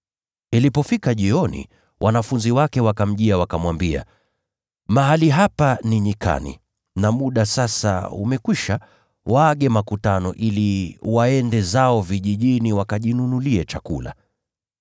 Ilipofika jioni, wanafunzi wake walienda kwake, wakamwambia, “Mahali hapa ni nyikani, na muda sasa umekwisha. Waage makutano ili waende zao vijijini wakajinunulie chakula.”